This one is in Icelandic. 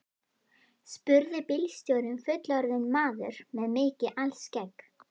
spurði bílstjórinn, fullorðinn maður með mikið alskegg.